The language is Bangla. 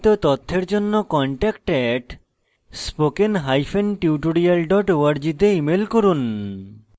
বিস্তারিত তথ্যের জন্য contact @spokentutorial org তে ইমেল করুন